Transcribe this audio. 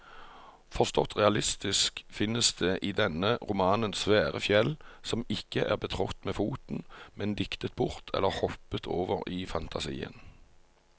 Forstått realistisk finnes det i denne romanen svære fjell som ikke er betrådt med foten, men diktet bort eller hoppet over i fantasien.